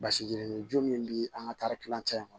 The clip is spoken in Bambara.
Basi yirini jo min bɛ an ka taari kilancɛ in kɔnɔ